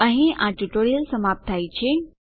અહીં આ ટ્યુટોરીયલ સમાપ્ત થાય છે